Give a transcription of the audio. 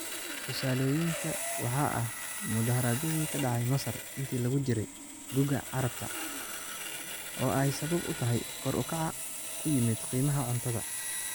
Tusaalooyinka waxaa ah mudaaharaadyadii ka dhacay Masar intii lagu jiray "Guga Carabta" oo ay sabab u tahay kor u kaca ku yimid qiimaha cuntada.